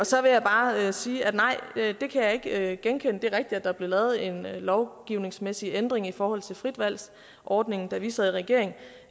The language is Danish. så vil jeg bare sige at nej det kan jeg ikke genkende det er rigtigt at der blev lavet en lovgivningsmæssig ændring i forhold til fritvalgsordningen da vi sad i regering